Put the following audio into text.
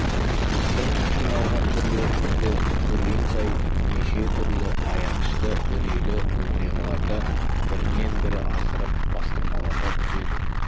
біздің қиналған түрлерімізді көрген сайын неше түрлі аянышты үрейлі оқиғаларды бірінен-бірін асырып бастырмалата түседі